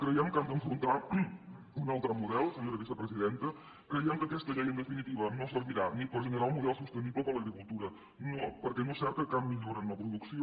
creiem que han d’afrontar un altre model senyora vicepresidenta creiem que aquesta llei en definitiva no servirà ni per generar un model sostenible per a l’agricultura perquè no és cert que cap millora en la producció